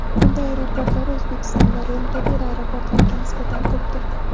Bunday aeroportlar O‘zbekistonda rentabel aeroportlarga nisbatan ko‘pdir.